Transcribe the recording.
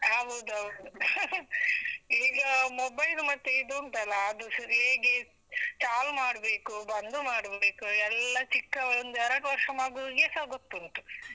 ಹೌದ್ ಹೌದು , ಈಗ mobile ಮತ್ತೆ ಇದ್ ಉಂಟಲ್ಲ, ಅದು ಹೇಗೆ ಚಾಲು ಮಾಡ್ಬೇಕು, ಬಂದು ಮಾಡ್ಬೇಕು ಎಲ್ಲ ಚಿಕ್ಕ ಒಂದ್ ಎರಡು ವರ್ಷ ಮಗುವಿಗೆಸ ಗೊತ್ತುಂಟು.